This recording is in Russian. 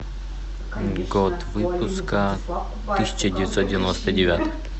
год выпуска тысяча девятьсот девяносто девятый